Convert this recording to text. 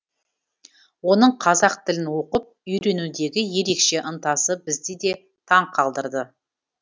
оның қазақ тілін оқып үйренудегі ерекше ынтасы бізді де таң қалдырды